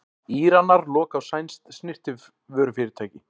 Íranar loka á sænskt snyrtivörufyrirtæki